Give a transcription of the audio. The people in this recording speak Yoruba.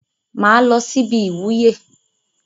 Mà á lọ síbi ìwúyè.